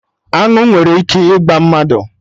Aṅụ nwere ike ịgba mmadụ